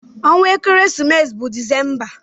Ọnwa ekeresimesi bụ December.